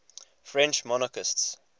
french monarchists